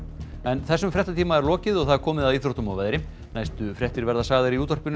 þessum fréttatíma er lokið og komið að íþróttum og veðri næstu fréttir verða sagðar í útvarpi